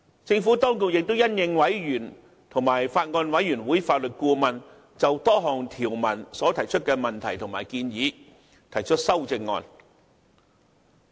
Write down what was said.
政府當局亦因應委員及法案委員會法律顧問就多項條文所提出的問題和建議提出修正案。